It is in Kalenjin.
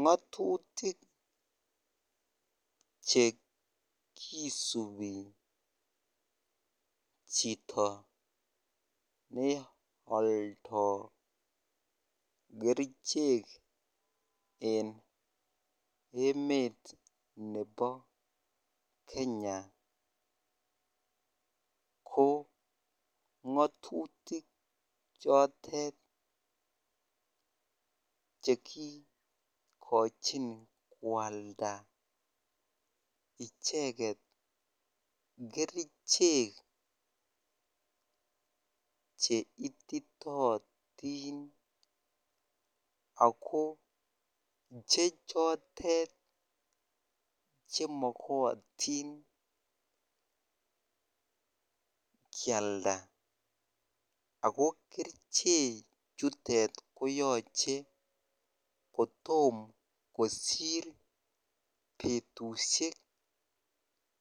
Ngotutik chekisubi chito ne oldo kerichek en emet nebo Kenya ko ngotutik chotet chekikochin kwalda icheket kerichek cheititotin ak ko chechotet chemokotin kialda ak ko keriche chutet koyooche kotom kosir betushek